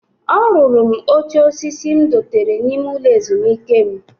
O ruru m oche osisi m dotere n'ime ulo ezumike m.